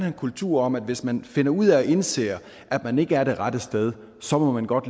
en kultur om at hvis man finder ud af og indser at man ikke er det rette sted så må man godt